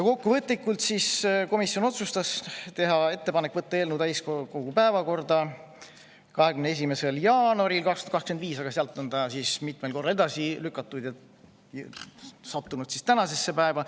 Kokkuvõtlikult otsustas komisjon teha ettepaneku võtta eelnõu täiskogu päevakorda 21. jaanuaril 2025, aga seda on mitmel korral edasi lükatud ja see on jõudnud tänasesse päeva.